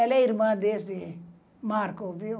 Ela é irmã desse Marco, viu?